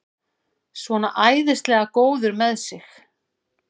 Svona æðislega góður með sig!